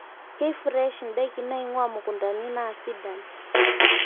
keifresh ndaiki naingua mukuntani naa sidan